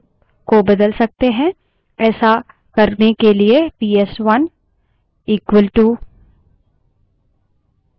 हम prompt पर at the rate <@> कहकर अपने प्राथमिक prompt string को बदल सकते हैं